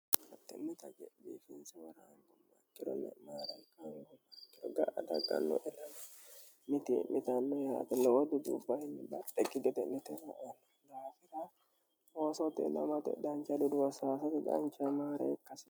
mattinnita gediikinsooraangumattiro le'maara ikanno ogga ataqalloe mitii'nitanno yaatinniwo ducubbo hinni da ikki gete'nitono'o gaafira oosoti lmte danca diduwo sfi canca maare ikkasi